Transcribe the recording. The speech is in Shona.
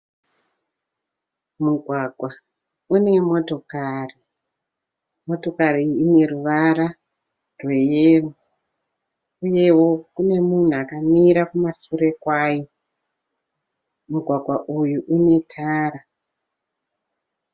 Mugwagwa une motokari. Motokari iyi ineruvara rwe yero. Uyewo kune munhu akamira kumasure kwayo. Mugwagwa uyu une tara.